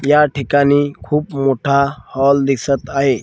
या ठिकाणी खूप मोठा हॉल दिसत आहे.